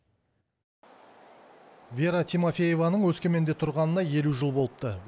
вера тимофееваның өскеменде тұрғанына елу жыл болыпты